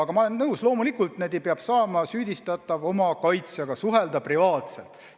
Aga ma olen nõus, et loomulikult peab saama süüdistatav oma kaitsjaga suhelda privaatselt.